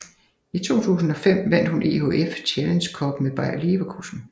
I 2005 vandt hun EHF Challenge Cup med Bayer Leverkusen